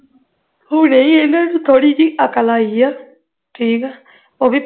ਹੁਣੇ ਹੀ ਇਹਨਾਂ ਨੂੰ ਥੋੜੀ ਜਿਹੀ ਅਕਲ ਆਈ ਹੈ ਠੀਕ ਹੈ ਉਹ ਵੀ